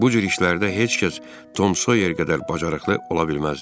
Bu cür işlərdə heç kəs Tom Soyer qədər bacarıqlı ola bilməzdi.